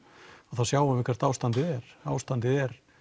þá sjáum við hvert ástandið er ástandið er